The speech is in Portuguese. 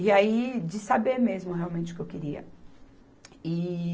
E aí, de saber mesmo realmente o que eu queria. E